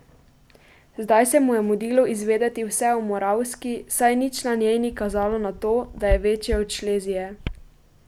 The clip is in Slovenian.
Zdaj se mu je mudilo izvedeti vse o Moravski, saj nič na njej ni kazalo na to, da je večja od Šlezije.